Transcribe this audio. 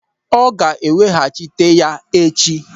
Ọ ga-eweghachita ya echi.